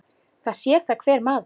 Það sér það hver maður.